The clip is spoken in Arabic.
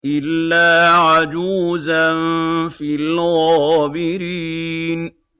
إِلَّا عَجُوزًا فِي الْغَابِرِينَ